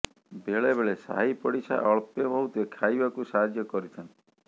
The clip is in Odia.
ବେଳେ ବେଳେ ସାହିପଡିସା ଅଳ୍ପେ ବହୁତେ ଖାଇବାକୁ ସାହାଯ୍ୟ କରିଥାନ୍ତି